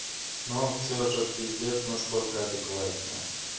но он всё же пиздец насколько адекватнее